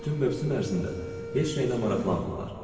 Bütün mövsüm ərzində heç nəylə maraqlanmırlar.